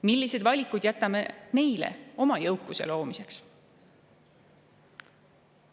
Millised valikud jätame neile oma jõukuse loomiseks?